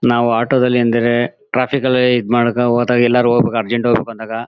ನಾವ್ ಆಟೋ ದಲ್ಲಿ ಅಂದ್ರೆ ಟ್ರಾಫಿಕ್ ಅಲ್ಲಿ ಇದ್ ಮಾಡಕ್ ಹೋದಾಗ್ ಎಲ್ಲರು ಅರ್ಜೆಂಟ್ ಹೋಗ್ಬೇಕಂದ್ಅಂದಾಗ